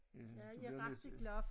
Øh du bliver nødt til